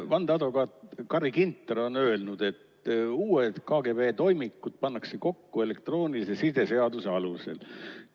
Vandeadvokaat Carri Ginter on öelnud, et uued KGB toimikud pannakse kokku elektroonilise side seaduse alusel.